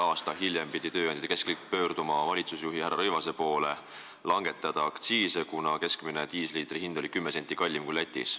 Aasta hiljem pidi tööandjate keskliit selle tõttu pöörduma valitsusjuhi härra Rõivase poole palvega langetada aktsiise, kuna diislikütuse keskmine hind oli 10 senti kallim kui Lätis.